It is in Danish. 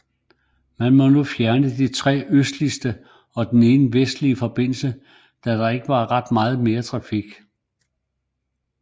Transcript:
Man kunne nu fjerne de tre østligste og den ene vestlige forbindelse da de ikke ville få ret meget trafik